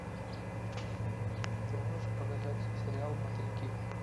ты можешь показать сериал мотыльки